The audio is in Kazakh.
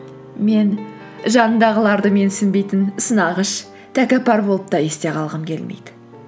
мен жанындағыларды менсінбейтін сынағыш тәкаппар болып та есте қалғым келмейді